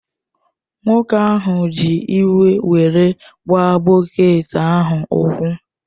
Nwoke ahụ ji iwe were gbaa bọket ahụ ụkwụ